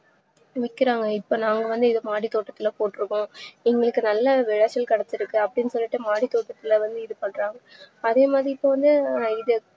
விக்கிறாங்க இப்போ நாங்க வந்து இத மாடித்தோட்டதுல போற்றுக்கோம் எங்களுக்கு நல்லா விளைச்சல் கெடைச்சுருக்கு அப்டின்னு சொல்லிட்டு மாடித்தோட்டதுல வந்துஇது பண்றாங்க அதேமாதிரி இப்போவந்து இது